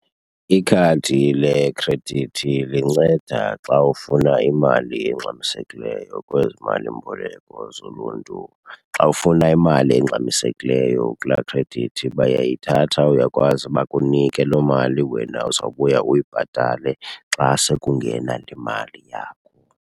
Ikhadi lekhredithi linceda xa ufuna imali engxamisekileyo kwezi malimboleko zoluntu. Xa ufuna imali engxamisekileyo kulaa khredithi bayayithatha uyakwazi bakunike loo mali wena uzawubuya uyibhatale xa sekungena le mali yakho.